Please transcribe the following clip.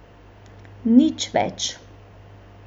Nič več.